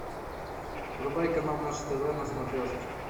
врубай канал наше тв на смотрешке